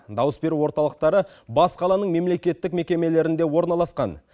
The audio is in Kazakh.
дауыс беру орталықтары бас қаланың мемлекеттік мекемелерінде орналасқан